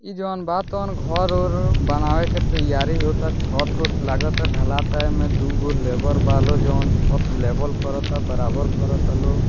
इ जोन बा तहन घर-उर बनावे के तैयारी होअता छत-उत लागाता ढलाता एमे दू गो लेबर बा लो जोन छत लेवल कराता बराबर कराता लोग।